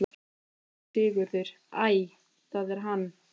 SÉRA SIGURÐUR: Æ, það er hann!